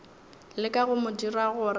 leka go mo dira gore